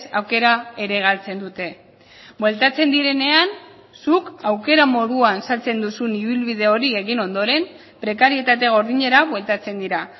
aukera ere galtzen dute bueltatzen direnean zuk aukera moduan saltzen duzun ibilbide hori egin ondoren prekarietate gordinera bueltatzen dira